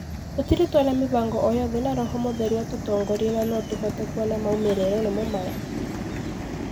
Tũtirĩ twona mibango oo yothe na roho mũtheru atũtongoririe na no ũhote kuona maumĩrĩro nimo maya